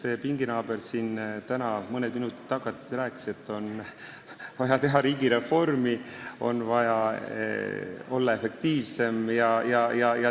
Teie pinginaaber siin täna just mõned minutid tagasi rääkis, et on vaja teha riigireformi, on vaja olla efektiivsem.